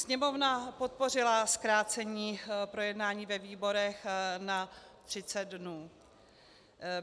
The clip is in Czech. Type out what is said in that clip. Sněmovna podpořila zkrácení projednání ve výborech na 30 dnů.